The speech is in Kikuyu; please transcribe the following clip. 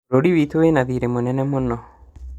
Bũrũri witũ wĩna thirĩ mũnene mũno